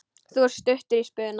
Þú ert stuttur í spuna.